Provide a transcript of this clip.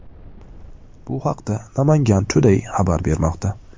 Bu haqda Namangan Today xabar bermoqda .